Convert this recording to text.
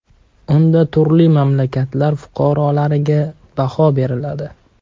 Unda turli mamlakatlar fuqaroliklariga baho beriladi.